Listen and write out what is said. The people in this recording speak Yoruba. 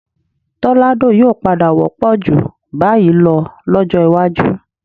Tọ́ládò yóò padà wọ́pọ̀ ju báyìí lọ lọ́jọ́ iwájú